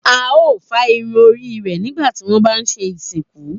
A o fá irun orí rẹ̀ nígbà tí wọ́n bá ń ṣe ìsìnkú.